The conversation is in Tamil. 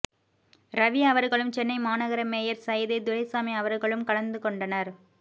ரவி அவர்களும் சென்னை மாநகர மேயர் சைதை துரைசாமி அவர்களும் கலந்துகொண்டனர்